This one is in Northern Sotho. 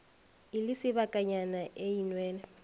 e le sebakanyana e nwele